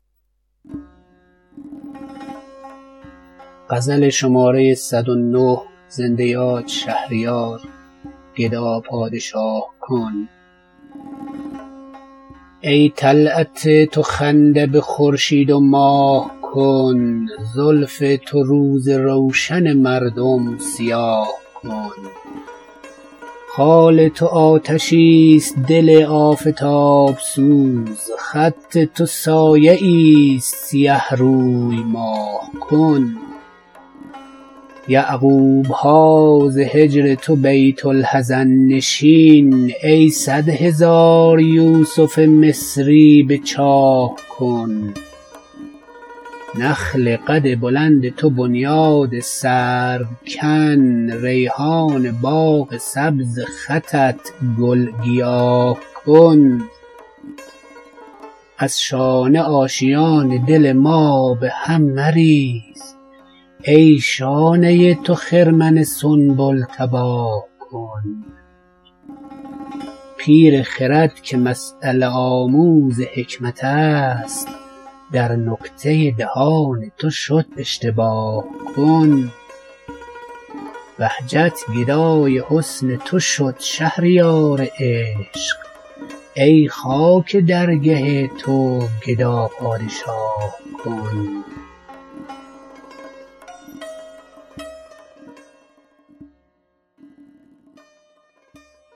ای طلعت تو خنده به خورشید و ماه کن زلف تو روز روشن مردم سیاه کن خال تو آتشی است دل آفتاب سوز خط تو سایه ای است سیه روی ماه کن یعقوب ها ز هجر تو بیت الحزن نشین ای صدهزار یوسف مصری به چاه کن نخل قد بلند تو بنیاد سرو کن ریحان باغ سبز خطت گل گیاه کن هرگز نرفته است به سر ماه را کلاه ای خود در این میان سر ما بی کلاه کن از شانه آشیان دل ما به هم مریز ای شانه تو خرمن سنبل تباه کن پیر خرد که مسیله آموز حکمت است در نکته دهان تو شد اشتباه کن کارم ز عشق تو به جز افغان و آه نیست ای کار عاشقان خود افغان و آه کن بهجت گدای حسن تو شد شهریار عشق ای خاک درگه تو گدا پادشاه کن